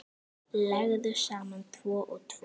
Leggðu saman tvo og tvo.